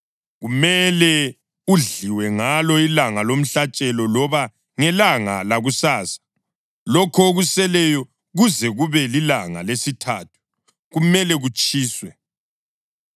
Kumele udliwe ngalo ilanga lomhlatshelo loba ngelanga lakusasa; lokho okuseleyo kuze kube lilanga lesithathu kumele kutshiswe.